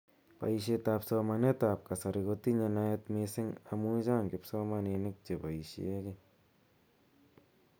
Boishet ab somanet ab kasari kotinye naet mising amu chang kipsomaninik cheboishe kii.